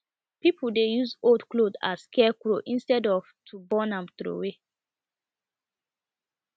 pipo dey use old cloth as scarecrow instead of to burn am throw away